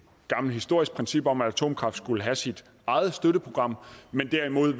gammelt historisk princip om at atomkraft skulle have sit eget støtteprogram men derimod